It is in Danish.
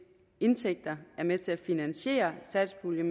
indtægter er med til at finansiere satspuljen